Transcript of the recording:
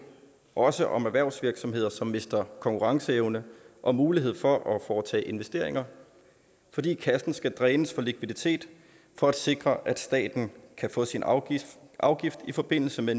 også om erhvervsvirksomheder som mister konkurrenceevne og mulighed for at foretage investeringer fordi kassen skal drænes for likviditet for at sikre at staten kan få sin afgift afgift i forbindelse med